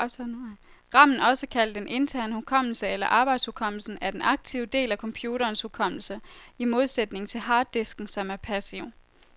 Ramen, også kaldet den interne hukommelse eller arbejdshukommelsen, er den aktive del af computerens hukommelse, i modsætning til harddisken, som er passiv.